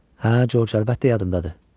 Hə, Corc, əlbəttə yadındadır.